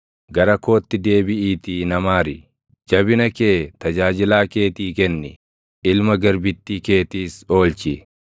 Gara kootti deebiʼiitii na maari; jabina kee tajaajilaa keetii kenni; ilma garbittii keetiis oolchi.